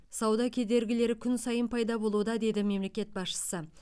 сауда кедергілері күн сайын пайда болуда деді мемлекет басшысы